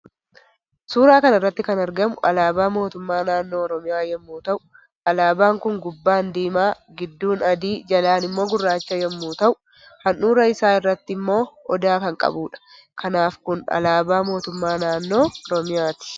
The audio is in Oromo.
Suuraa kanarratti kan argamu alaba mootummaa naannoo oromiyaa yommuu ta'u alabaan Kun gubbaan diima gidduun adii jalaan immoo gurraacha yommuu ta'u handhuurra isa irratti immoo odaa kan qabudha kanaafi Kun alaaba mootummaa naannoo oromiyaati.